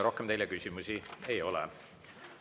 Rohkem teile küsimusi ei ole.